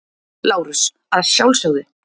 LÁRUS: Að sjálfsögðu.